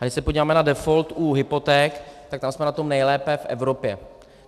A když se podíváme na default u hypoték, tak tam jsme na tom nejlépe v Evropě.